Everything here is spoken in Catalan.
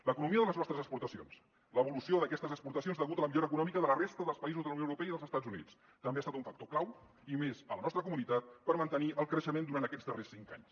l’economia de les nostres exportacions l’evolució d’aquestes exportacions degut a la millora econòmica de la resta dels països de la unió europea i dels estats units també han estat un factor clau i més a la nostra comunitat per mantenir el creixement durant aquests cinc anys